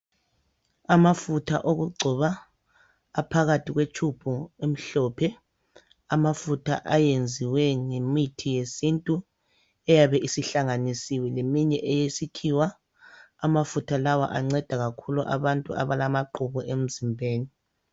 Amafutha okugcoba aphakathi kwetshubhu emhlophe. Amafutha ayenziwe ngemithi yesintu eyabe isihlanganisiwe leminye eyesikhiwa. Amafutha lawa anceda kakhulu abantu abalamaqhubu emzimbeni.